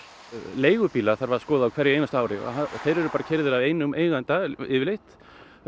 leigubíla þarf að skoða á hverju einasta ári og þeir eru bara keyrðir af einum eiganda yfirleitt